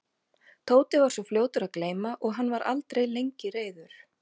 Tóti var svo fljótur að gleyma og hann var aldrei lengi reiður.